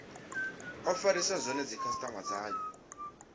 o farisa zwone dzikhasitama dzayo